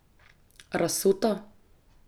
Razsuta?